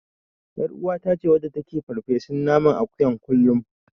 Ƴaruwata ce wadda take yin farfesun naman akuyan kullum.